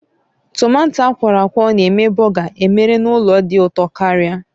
Tomato akwọrọakwọ na-eme bọgar emere n'ụlọ dị ụtọ karịa